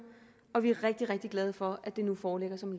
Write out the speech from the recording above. og vi er rigtig rigtig glade for at det nu foreligger som